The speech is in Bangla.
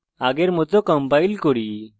আগের মত compile করি